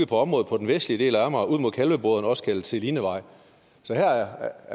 på området på den vestlige del af amager ud mod kalveboderne også kaldet selinevej så her